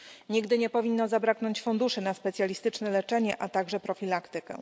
Nigdy nie powinno zabraknąć funduszy na specjalistyczne leczenie, a także profilaktykę.